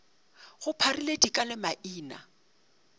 go pharile dika le maina